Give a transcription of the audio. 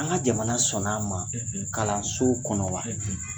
An ŋa jamana sɔnn'a ma kalanso kɔnɔ wa ?